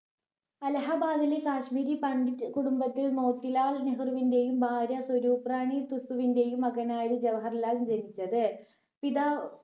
അല്ലഹബാദില് കാശ്മീരി പണ്ഡിറ്റ് കുടുംബത്തിൽ മോത്തിലാൽ നെഹ്‌റുവിന്റെയും ഭാര്യ സ്വരൂപ് റാണി തുസുവിന്റെയും മകനായി ജവഹർലാൽ ജനിച്ചത് പിതാവ്